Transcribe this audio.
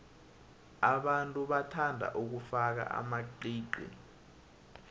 abantu bathanda ukufaka amaqiqi